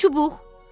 Üç çubuq?